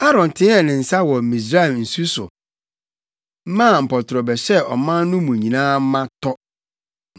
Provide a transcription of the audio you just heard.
Aaron teɛɛ ne nsa wɔ Misraim nsu so maa mpɔtorɔ bɛhyɛɛ ɔman no mu nyinaa ma tɔ.